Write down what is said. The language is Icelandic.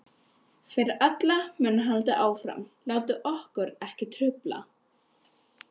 Fyrir alla muni haldið áfram, látið okkur ekki trufla.